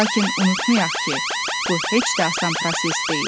Lakin unutmayaq ki, bu heç də asan proses deyil.